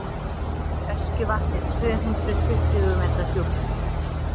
öskjuvatn er tvö hundruð tuttugu metra djúpt